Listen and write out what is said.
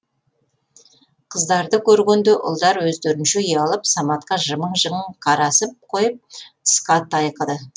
қыздарды көргенде ұлдар өздерінше ұялып саматқа жымың жымың қарасып қойып тысқа тайқыды